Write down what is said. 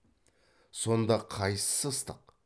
сонда қайсысы ыстық